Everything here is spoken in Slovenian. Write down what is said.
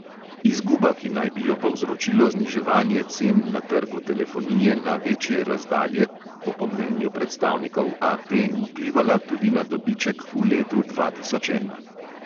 Izguba, ki naj bi jo povzročilo zniževanje cen na trgu telefonije na večje razdalje, bo po mnenju predstavnikov AT vplivala tudi na dobiček v letu dva tisoč ena.